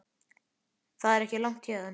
Það er ekki langt héðan.